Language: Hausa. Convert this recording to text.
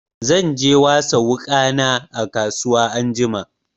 Zan je wasa wuƙana a kasuwa anjima.